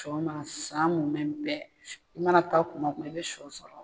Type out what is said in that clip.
Sɔgɔma san munmɛn bɛɛ i mana taa kuma kuma i bɛ shɔ sɔrɔ.